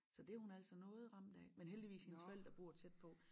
Så det hun altså noget ramt af men heldigvis hendes forældre bor tæt på